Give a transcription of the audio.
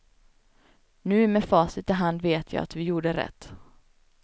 Nu med facit i hand vet jag att vi gjorde rätt.